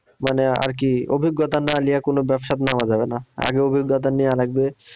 মানে আরকি অভিজ্ঞতা না নিয়ে কোনো ব্যবসায় নামা যাবে না আগে অভিজ্ঞতা নেওয়া লাগবে।